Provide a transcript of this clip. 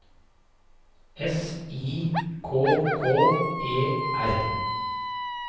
S I K K E R